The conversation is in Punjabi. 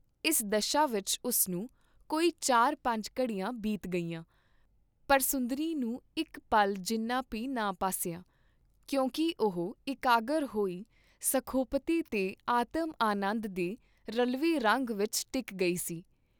ਇਸ ਦਸ਼ਾ ਵਿਚ ਉਸਨੂੰ ਕੋਈ ਚਾਰ ਪੰਜ ਘੜੀਆਂ ਬੀਤ ਗਈਆਂ, ਪਰ ਸੁੰਦਰੀ ਨੂੰ ਇਕ ਪਲ ਜਿੰਨਾ ਭੀ ਨਾ ਭਾਸਿਆ, ਕਿਉਂਕਿ ਉਹ ਇਕਾਗਰ ਹੋਈ ਸੁਖੋਪਤੀ ਤੇ ਆਤਮਾਨੰਦ ਦੇ ਰਲਵੇਂ ਰੰਗ ਵਿਚ ਟਿਕ ਗਈ ਸੀ।